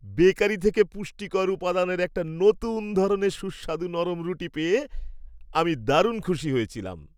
Bakery থেকে পুষ্টিকর উপাদানের একটা নতুন ধরনের সুস্বাদু নরম রুটি পেয়ে আমি দারুণ খুশি হয়েছিলাম।